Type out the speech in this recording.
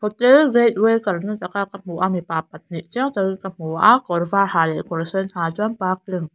hotel gate way karnataka ka hmu a mipa pahnih chiang takin ka hmu a kawrvar ha leh kawr sen ha chuan parking --